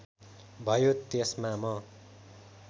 भयो त्यसमा म